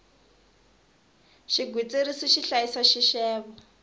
xigwitsirisi xi hlayisa xixevo